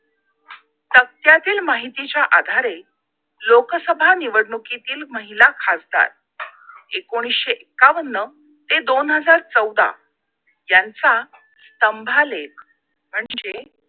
तक्त्यातील माहितीच्या आधारे लोकसभा निवडणुकीतील महिला खासदार एकोणीशे एक्कावन्न ते दोन हजार चौदा यांचा स्तंभालेख म्हणजे